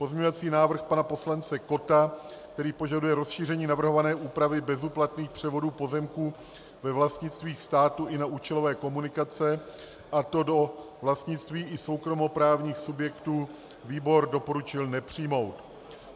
Pozměňovací návrh pana poslance Kotta, který požaduje rozšíření navrhované úpravy bezúplatných převodů pozemků ve vlastnictví státu i na účelové komunikace, a to do vlastnictví i soukromoprávních subjektů, výbor doporučil nepřijmout.